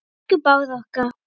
Elsku Bára okkar.